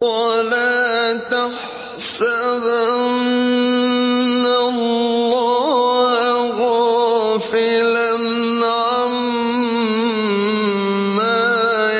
وَلَا تَحْسَبَنَّ اللَّهَ غَافِلًا عَمَّا